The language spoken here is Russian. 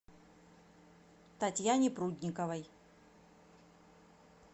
татьяне прудниковой